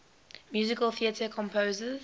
musical theatre composers